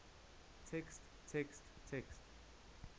text text text